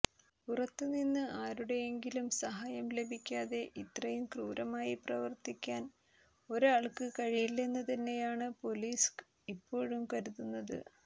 പുറത്തുനിന്ന് ആരുടെയെങ്കിലും സഹായം ലഭിക്കാതെ ഇത്രയും ക്രൂരമായി പ്രവർത്തിക്കാൻ ഒരാൾക്ക് കഴിയില്ലെന്ന് തന്നെയാണ് പൊലീസ് ഇപ്പോഴും കരുതുന്നത്